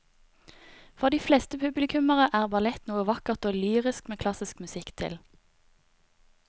For de fleste publikummere er ballett noe vakkert og lyrisk med klassisk musikk til.